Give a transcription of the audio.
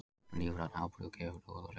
Lífrænn áburður gefur góða raun